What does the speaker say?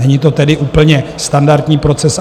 Není to tedy úplně standardní proces.